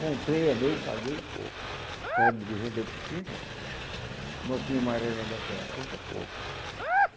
Comprei, é meu, paguei, o cara me dê vendeu por trinta, notinha amarela daquela, trinta conto.